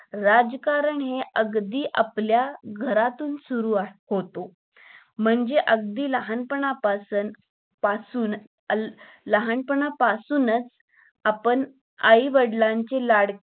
राजकारण हे अगदी आपल्या घरातून सुरु असतंय तो म्हणजे, अगदी लहान पण पासून लहान पण अं पासूनच आपण आई वडीलचे लाडके